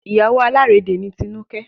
Ìyàwó alárédè ni Tinuke